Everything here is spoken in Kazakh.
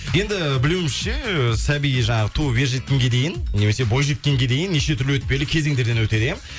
енді білуімізше ы сәби жаңағы туып ержеткенге дейін немесе бойжеткенге дейін неше түрлі өтпелі кезеңдерден өтеді иә